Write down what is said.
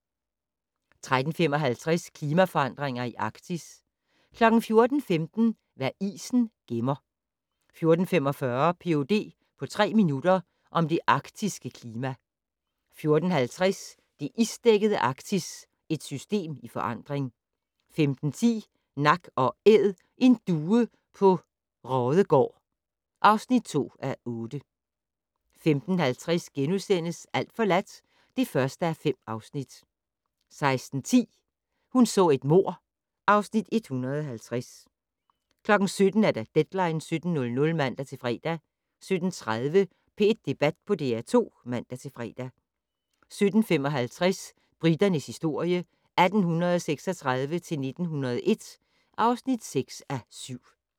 13:55: Klimaforandringer i Arktis 14:15: Hvad isen gemmer 14:45: Ph.d. på tre minutter - om det arktiske klima 14:50: Det isdækkede Arktis - et system i forandring 15:10: Nak & Æd - en due på Raadegaard (2:8) 15:50: Alt forladt (1:5)* 16:10: Hun så et mord (Afs. 150) 17:00: Deadline 17.00 (man-fre) 17:30: P1 Debat på DR2 (man-fre) 17:55: Briternes historie 1836-1901 (6:7)